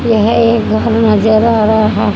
यह एक घर नजर आ रहा है।